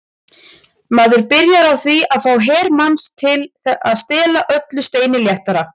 Maður byrjar á því að fá her manns til að stela öllu steini léttara.